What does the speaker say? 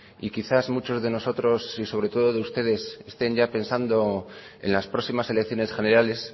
y quizás muchos de nosotros y sobre todo de ustedes estén ya pensando en las próximas elecciones generales